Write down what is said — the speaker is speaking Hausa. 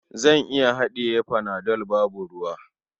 Zan iya haɗiye panado babu ruwa.